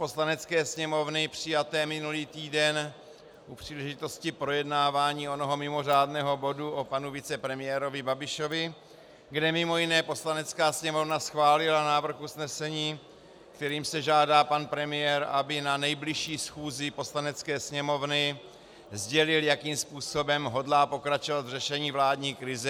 Poslanecké sněmovny přijaté minulý týden u příležitosti projednávání onoho mimořádného bodu o panu vicepremiérovi Babišovi, kde mimo jiné Poslanecká sněmovna schválila návrh usnesení, kterým se žádá pan premiér, aby na nejbližší schůzi Poslanecké sněmovny sdělil, jakým způsobem hodlá pokračovat v řešení vládní krize.